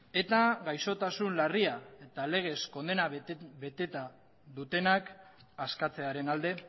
eta gaixotasun larria eta legez kondena beteta dutenak askatzearen alde